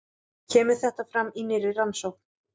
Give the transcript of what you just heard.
Kemur þetta fram í nýrri rannsókn